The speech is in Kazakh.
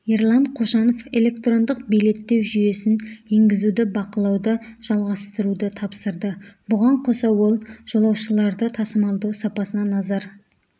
ерлан қошанов электрондық билеттеу жүйесін енгізуді бақылауды жалғастыруды тапсырды бұған қоса ол жолаушыларды тасымалдау сапасына назар